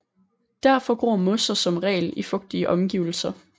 Derfor gror mosser som regel i fugtige omgivelser